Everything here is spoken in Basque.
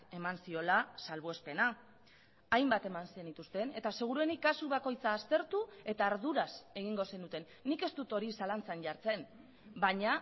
eman ziola salbuespena hainbat eman zenituzten eta seguruenik kasu bakoitza aztertu eta arduraz egingo zenuten nik ez dut hori zalantzan jartzen baina